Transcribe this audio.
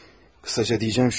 Qısacası deyəcəyim budur.